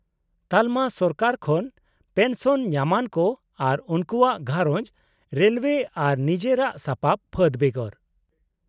-ᱛᱟᱞᱚᱢᱟ ᱥᱚᱨᱠᱟᱨ ᱠᱷᱚᱱ ᱯᱮᱱᱥᱚᱱ ᱧᱟᱢᱟᱱ ᱠᱚ ᱟᱨ ᱩᱱᱠᱩᱣᱟᱜ ᱜᱷᱟᱸᱨᱚᱡᱽ ( ᱨᱮᱞᱳᱭᱮ ᱟᱨ ᱱᱤᱡᱮᱨᱟ ᱥᱟᱯᱟᱵ ᱯᱷᱟᱹᱫ ᱵᱮᱜᱚᱨ) ᱾